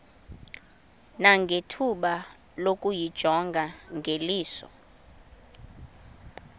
nangethuba lokuyijonga ngeliso